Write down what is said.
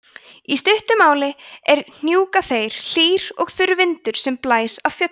í stuttu máli er hnjúkaþeyr hlýr og þurr vindur sem blæs af fjöllum